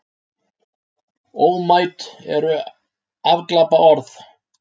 Ómæt eru afglapaorð.